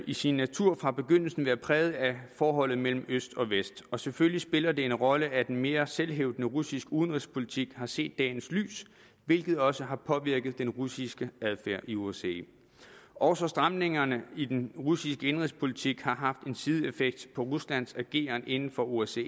i sin natur fra begyndelsen været præget af forholdet mellem øst og vest og selvfølgelig spiller det en rolle at en mere selvhævdende russisk udenrigspolitik har set dagens lys hvilket også har påvirket den russiske adfærd i osce også stramningerne i den russiske indenrigspolitik har haft en sideeffekt på ruslands ageren inden for osce